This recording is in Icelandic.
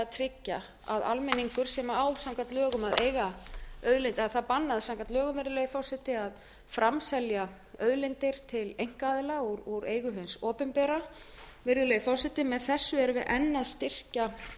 tryggja að almenningur sem á samkvæmt lögum að eiga auðlind eða það er bannað samkvæmt lögum virðulegi forseti að framselja auðlindir til einkaaðila úr eigu hins opinbera virðulegi forseti með þessu erum við enn að